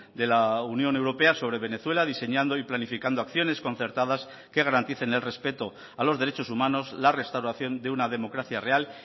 de la unión europea sobre venezuela diseñando y planificando acciones concertadas que garanticen el respeto a los derechos humanos la restauración de una democracia real